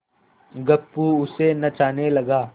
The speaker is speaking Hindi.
गप्पू उसे नचाने लगा